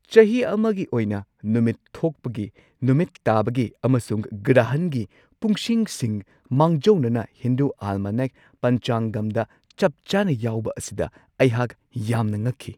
ꯆꯍꯤ ꯑꯃꯒꯤ ꯑꯣꯏꯅ ꯅꯨꯃꯤꯠ ꯊꯣꯛꯄꯒꯤ, ꯅꯨꯃꯤꯠ ꯇꯥꯕꯒꯤ ꯑꯃꯁꯨꯡ ꯒ꯭ꯔꯍꯟꯒꯤ ꯄꯨꯡꯁꯤꯡꯁꯤꯡ ꯃꯥꯡꯖꯧꯅꯅ ꯍꯤꯟꯗꯨ ꯑꯦꯜꯃꯅꯦꯛ, ꯄꯟꯆꯥꯉꯝꯗ ꯆꯞ ꯆꯥꯅ ꯌꯥꯎꯕ ꯑꯁꯤꯗ ꯑꯩꯍꯥꯛ ꯌꯥꯝꯅ ꯉꯛꯈꯤ ꯫